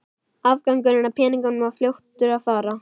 Afgangurinn af peningunum var fljótur að fara.